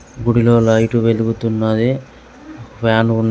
గుడిలో లైట్ వెలుగుతున్నాయి. ఫ్యాన్ ఉ --